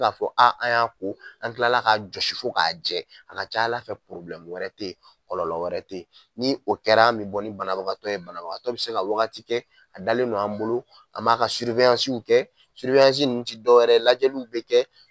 an kila ka fɔ a an y'a ko an kila la ka josi fo k'a jɛ a ka ca Ala fɛ wɛrɛ tɛ ye kɔlɔlɔ wɛrɛ tɛ ye ni o kɛra an bɛ bɔ ni banabagatɔ ye banabagatɔ bɛ se ka wagati kɛ a dalen no an bolo an m'a ka kɛ nun tɛ dɔwɛrɛ ye lajɛliw bɛ kɛ.